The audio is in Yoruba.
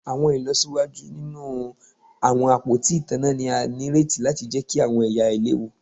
Awọn ilọsiwaju ninu awọn apoti itanna ni a nireti lati jẹki awọn ẹya ailewu